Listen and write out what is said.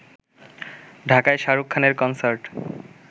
ঢাকায় শাহরুখ খানের কনসার্ট